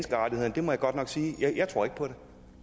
ændring på